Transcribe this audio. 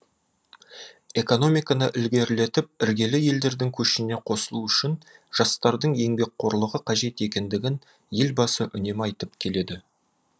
экономиканы ілгерілетіп іргелі елдердің көшіне қосылу үшін жастардың еңбекқорлығы қажет екендігін елбасы үнемі айтып келеді